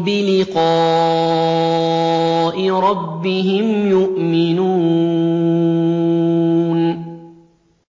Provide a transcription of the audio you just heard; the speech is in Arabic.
بِلِقَاءِ رَبِّهِمْ يُؤْمِنُونَ